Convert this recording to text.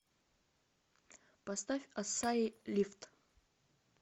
поставь ассаи лифт